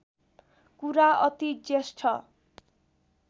कुरा अति ज्येष्ठ